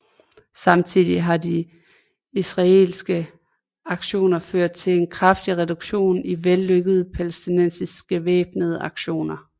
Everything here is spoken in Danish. Samtidig har de israelske aktioner ført til en kraftig reduktion i vellykkede palæstinensiske væbnede aktioner